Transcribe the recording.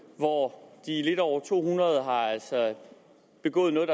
hvor de lidt over to hundrede altså har begået noget